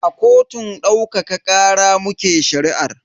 A kotun daukaka kara muke shari'ar.